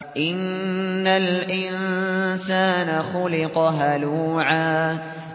۞ إِنَّ الْإِنسَانَ خُلِقَ هَلُوعًا